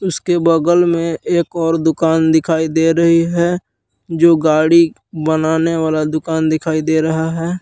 उसके बगल में एक और दुकान दिखाई दे रही है जो गाड़ी बनाने वाला दुकान दिखाई दे रहा है।